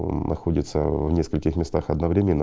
мм находится ээ в нескольких местах одновременно